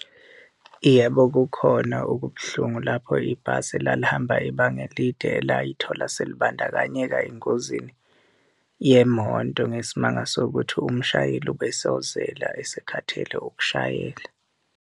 Yebo, kukhona okubuhlungu lapho ibhasi elalihamba ibanga elide elayithola selibandakanyeka engozini yemoto ngesimanga sokuthi umshayeli ubesozela, esekhathele ukushayela.